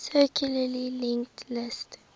circularly linked list